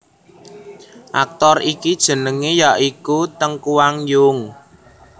Aktor iki jenengé ya iku Teng Kuang Yung